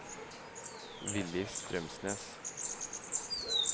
Villy Strømsnes